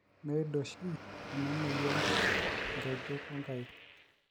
meid oshi ena moyian nkejek o nkaik